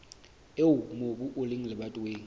eo mobu o leng lebatoweng